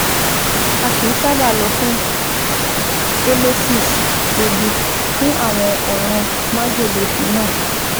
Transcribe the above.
A kìí sábà lọ fún emesis (èébì) fún àwọn ọ̀ràn májèlé phenol